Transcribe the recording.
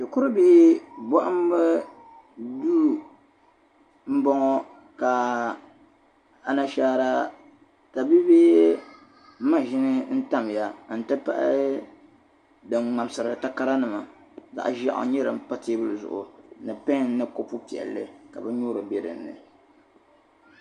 Shikuri bihi n bɔŋɔ ka anashaara ta bi bi ma shim tamya n ti pahi din mŋamsiri takara nima zaɣi ʒɛɣu n nyɛli n npa teebuli zuɣu nipen ni kopu piɛ!li